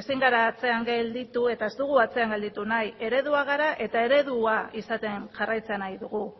ezin gara atzean gelditu eta ez dugu atzean gelditu nahi eredua gara eta eredua izaten jarraitzen nahi dugu